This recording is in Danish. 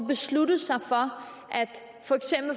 beslutte sig for